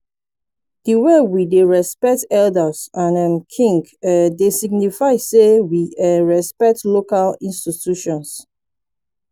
di way we dey respect elders and um kings um dey signify sey we um respect local institutions